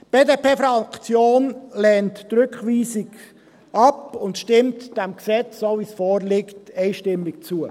Die BDP-Fraktion lehnt die Rückweisung ab und stimmt diesem Gesetz so, wie es vorliegt, einstimmig zu.